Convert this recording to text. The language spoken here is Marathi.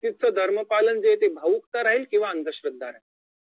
व्यक्तीचं धर्मपालन जे आहे ते भावुकता राहील किंवा अंधश्रद्धा राहील